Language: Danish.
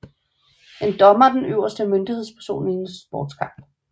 En dommer er den øverste myndighedsperson i en sportskamp